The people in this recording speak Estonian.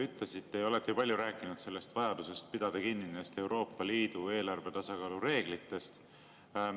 Te olete palju rääkinud vajadusest kinni pidada Euroopa Liidu eelarvetasakaalu reeglitest.